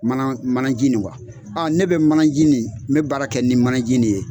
Mana manaji nin ne bɛ manaji nin me baara kɛ nin manaji nin ye.